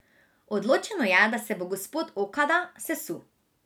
Odločeno je, da se bo gospod Okada sesul.